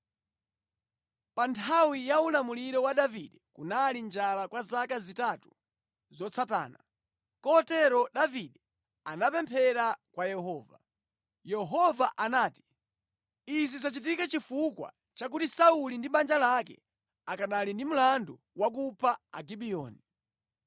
Pa nthawi ya ulamuliro wa Davide kunali njala kwa zaka zitatu zotsatana. Kotero Davide anapemphera kwa Yehova. Yehova anati, “Izi zachitika chifukwa chakuti Sauli ndi banja lake akanali ndi mlandu wakupha Agibiyoni.”